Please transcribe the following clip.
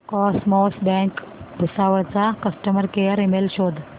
cosmos bank Bhusawal चा customer care email शोध